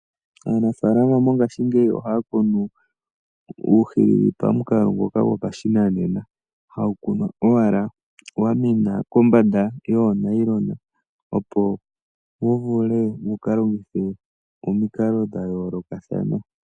Aanafaalama mongaashingeyi ohaa kunu uuhilili pamukalo ngoka gopashinanena. Hawu kunwa owala wa mena kombanda yoonayilona opo wu vule wu ka longithwe momikalo dha yoolokathana.